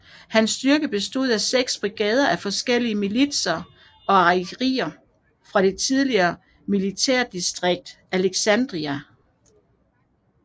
Hans styrker bestod af 6 brigader af forskellige militser og artilleri fra det tidligere militærdistrikt Alexandria